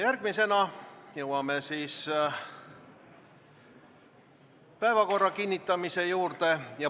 Oleme jõudnud päevakorra kinnitamise juurde.